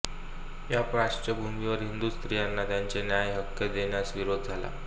या पार्श्वभूमीवर हिंदू स्त्रियांना त्याचे न्याय्य हक्क देण्यास विरोध झाला